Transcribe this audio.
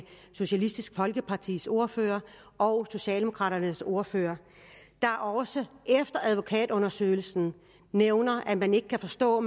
socialistisk folkepartis ordfører og socialdemokraternes ordfører der også efter advokatundersøgelsen nævner at man ikke kan forstå at